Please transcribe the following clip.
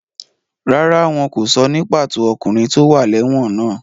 Rárá, wọn kò sọ ní pàtó ọkùnrin tó wà lẹ́wọ̀n náà.